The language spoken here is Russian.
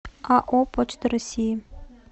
ао почта россии